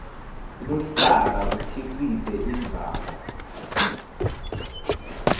luhlaka kukhicite indzaba